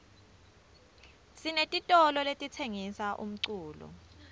sinetitolo letitsengisa umculo